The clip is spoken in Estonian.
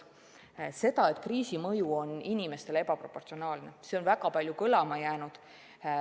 Seda, et kriisi mõju on inimestele ebaproportsionaalne, on väga palju kõlanud.